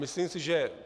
Myslím si, že